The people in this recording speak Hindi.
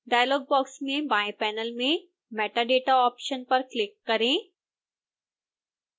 डायलॉग बॉक्स में बाएं पैनल में metadata ऑप्शन पर क्लिक करें